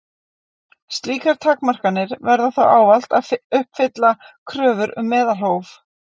Slíkar takmarkanir verða þó ávallt að uppfylla kröfur um meðalhóf.